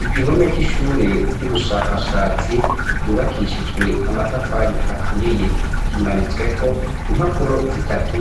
Igihome c'ishure ry'ubushakashatsi ryubakishijwe amatafari aturiye kimaritsweko impapuro zitatu